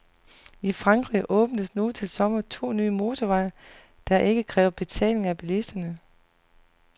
I Frankrig åbnes nu til sommer to nye motorveje, der ikke kræver betaling af bilisterne.